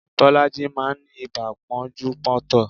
Bolaji máa ń ní ibà pọ́njú pọ́ntọ̀